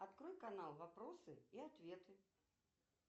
открой канал вопросы и ответы